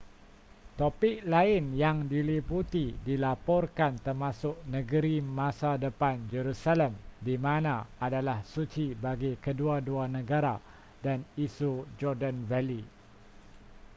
topik lain yang diliputi dilaporkan termasuk negeri masa depan jerusalem di mana adalah suci bagi kedua-dua negara dan isu jordan valley